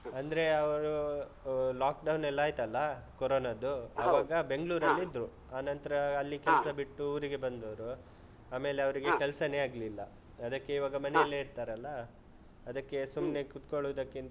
ಅಂದ್ರೆ ಅವ್ರು ಆಹ್ lockdown ಎಲ್ಲ ಆಯ್ತಲ್ಲ corona ದ್ದು ಆವಾಗ ಬೆಂಗ್ಳೂರಲ್ಲಿ ಇದ್ರು ಆನಂತ್ರ ಅಲ್ಲಿ ಕೆಲ್ಸ ಬಿಟ್ಟು ಊರಿಗೆ ಬಂದವ್ರು ಆಮೇಲೆ ಅವ್ರಿಗೆ ಕೆಲ್ಸಾನೇ ಆಗ್ಲಿಲ್ಲ. ಅದಕ್ಕೆ ಇವಾಗ ಮನೆಯಲ್ಲೇ ಇರ್ತಾರಲ್ಲ ಅದಕ್ಕೆ ಸುಮ್ನೆ ಕೂತ್ಕೋಳ್ಳೋದಕ್ಕಿಂತ